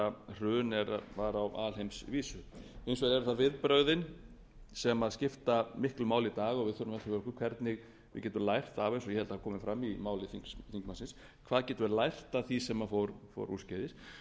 hrun var á alheimsvísu hins vegar eru það viðbrögðin sem skipta miklu máli í dag og við hvernig við getum lært af eins og hérna kom fram í máli þingmannsins hvað getum við lært af því sem fór úrskeiðis